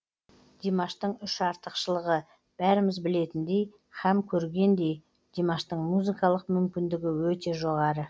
димаштың үш артықшылығы бәріміз білетіндей һәм көргендей димаштың музыкалық мүмкіндігі өте жоғары